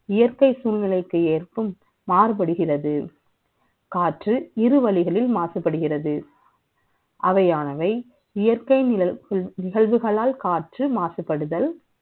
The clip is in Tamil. இயற்கை சூழ்நிலைக்கு ஏற்ப மாறுபடுகிறது காற்று இருவரின் மாசுபடுகிறது அவையானவை இயற்கை நிகழ்வுகளால் காற்று மாசுபடுதல்